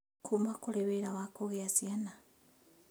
kuma kũrĩ wĩra wa kũgĩa ciana